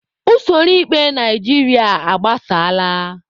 Usoro ikpe Naijiria agbasaala.